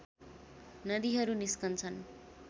नदीहरू निस्कन्छन्